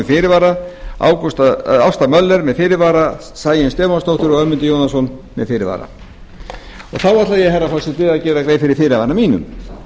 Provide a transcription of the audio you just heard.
fyrirvara ásta möller með fyrirvara sæunn stefánsdóttir og ögmundur jónasson með fyrirvara þá ætla ég herra forseti að gera grein fyrir fyrirvara mínum